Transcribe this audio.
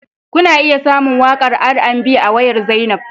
Kuna iya samun waƙar R&B a wayar Zainab